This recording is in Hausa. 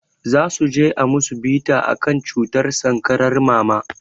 Zasuje a musu bita akan cutar sankarar mama